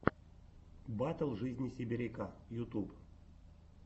батл жизни сибиряка ютуб